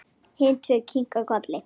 Hin tvö kinka kolli.